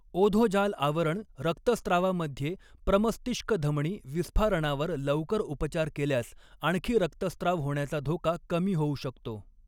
ओधोजाल आवरण रक्तस्त्रावामध्ये प्रमस्तिष्क धमनी विस्फारणावर लवकर उपचार केल्यास आणखी रक्तस्राव होण्याचा धोका कमी होऊ शकतो.